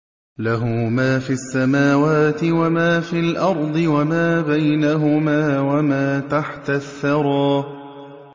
لَهُ مَا فِي السَّمَاوَاتِ وَمَا فِي الْأَرْضِ وَمَا بَيْنَهُمَا وَمَا تَحْتَ الثَّرَىٰ